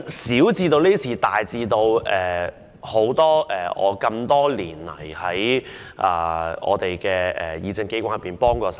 小至這些事情，大至過去多年曾在議政機關內協助我......